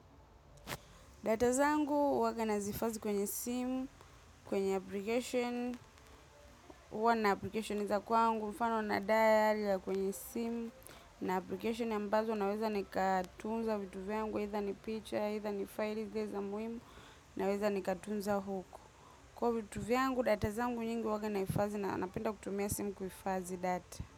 Data zangu waga nazifazi kwenye simu, kwenye application, uwa na application iza kwangu, mfano na diali ya kwenye sim, na application ambazo naweza ni katunza vituviangu, hitha ni picture, hitha ni file, hitha mwimu, naweza ni katunza huku. Kwa vituvyangu, datazangu nyingu waka naifazi na napenda kutumia simu kufazi data.